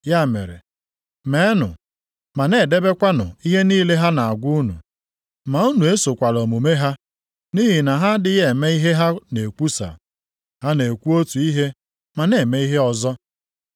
Ya mere, meenụ ma na-edebekwanụ ihe niile ha na-agwa unu. Ma unu esokwala omume ha. Nʼihi na ha adịghị eme ihe ha na-ekwusa. Ha na-ekwu otu ihe ma na-eme ihe ọzọ.